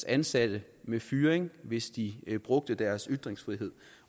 ansatte med fyring hvis de brugte deres ytringsfrihed